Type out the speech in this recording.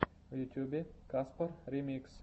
в ютубе каспар ремикс